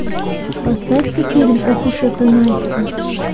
поставь ка фильм ох уж эта настя